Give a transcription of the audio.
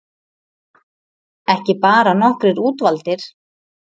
Ekki bara nokkrir útvaldir